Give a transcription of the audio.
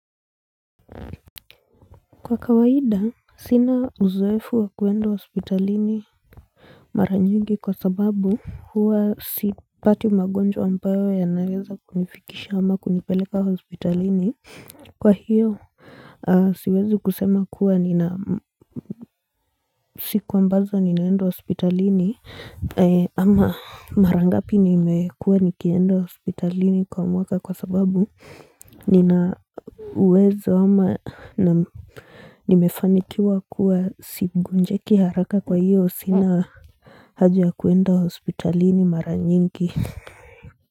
Kwa kawaida sina uzoefu wa kuenda hospitalini maranyingi kwa sababu huwa sipati magonjwa ambayo ya naweza kunifikisha ama kunipeleka hospitalini kwa hiyo siwezi kusema kuwa nina siku ambazo ninaenda hospitalini ama marangapi nimekua nikienda hospitalini kwa mwaka kwa sababu ninauwezo ama na Nimefanikiwa kuwa sigonjeki haraka kwa hiyo sina haja kuenda hospitalini mara nyingi.